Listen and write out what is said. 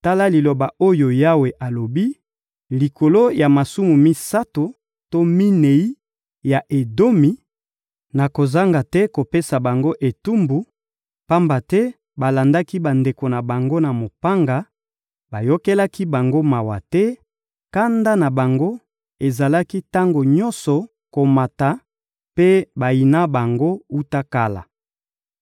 Tala liloba oyo Yawe alobi: «Likolo ya masumu misato to minei ya Edomi, nakozanga te kopesa bango etumbu, pamba te balandaki bandeko na bango na mopanga, bayokelaki bango mawa te, kanda na bango ezalaki tango nyonso komata, mpe bayina bango wuta kala.